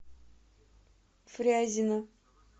фрязино